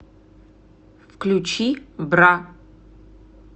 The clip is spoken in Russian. включи бра